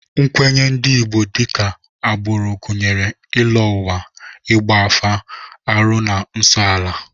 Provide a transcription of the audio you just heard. Nkwenye ndị Igbo dịka agbụrụ gụnyere ịlọ ụwa, ịgba afa, arụ na nsọala